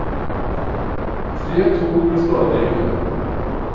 Tre tog ble stående i kø.